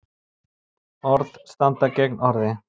Orð standi gegn orði